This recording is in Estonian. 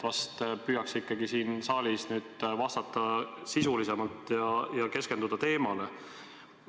Vahest püüaks ikkagi siin saalis vastata sisulisemalt ja keskenduda teemale.